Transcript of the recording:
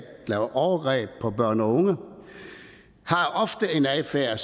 lave overgreb på børn og unge har ofte en adfærd